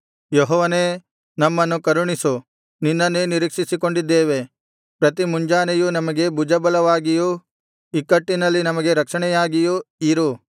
ಯೆಹೋವನೇ ನಮ್ಮನ್ನು ಕರುಣಿಸು ನಿನ್ನನ್ನೇ ನಿರೀಕ್ಷಿಸಿಕೊಂಡಿದ್ದೇವೆ ಪ್ರತಿಮುಂಜಾನೆಯೂ ನಮಗೆ ಭುಜಬಲವಾಗಿಯೂ ಇಕ್ಕಟ್ಟಿನಲ್ಲಿ ನಮಗೆ ರಕ್ಷಣೆಯಾಗಿಯೂ ಇರು